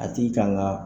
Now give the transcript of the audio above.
A tigi kan ka